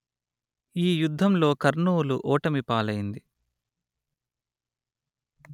ఈ యుద్ధంలో కర్నూలు ఓటమిపాలైంది